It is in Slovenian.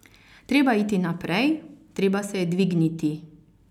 Treba je iti naprej, treba se je dvigniti.